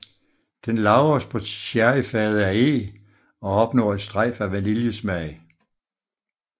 Den lagres på sherryfade af eg og opnår et strejf af vaniljesmag